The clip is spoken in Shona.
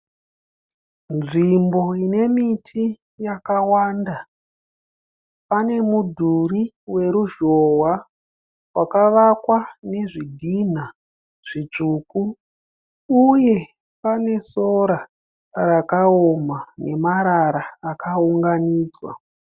Nzvimbo inemiti yakawanda. Pane mudhuri weruzhowa vakavakwa nezvidhina zvitsvuku. Uye pane sora rakaoma nemarara akaunganidzwa.